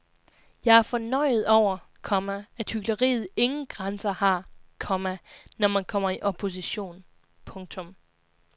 Jeg er fornøjet over, komma at hykleriet ingen grænser har, komma når man kommer i opposition. punktum